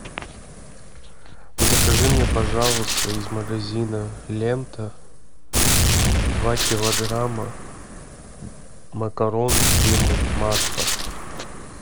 закажи мне пожалуйста из магазина лента два килограмма макарон фирмы макфа